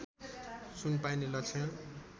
सुन पाइने लक्षण